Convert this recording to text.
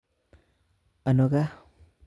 Ano gaa?